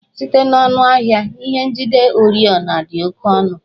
Site n'ọnụ ahịa, ihe ndị njide oriọna dị oke ọnụ